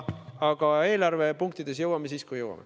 Aga eelarvepunktideni jõuame siis, kui jõuame.